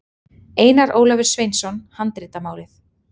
Einar Ólafur Sveinsson, Handritamálið.